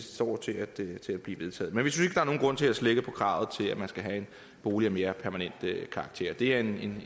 det står til at blive vedtaget men vi synes ikke er nogen grund til at slække på kravet til at man skal have en bolig af mere permanent karakter det er en